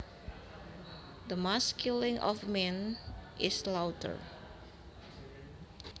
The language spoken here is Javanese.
The mass killing of men is slaughter